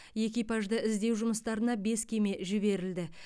экипажды іздеу жұмыстарына бес кеме жіберілді